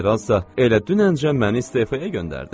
Generalsa elə dünən cə məni istefaya göndərdi.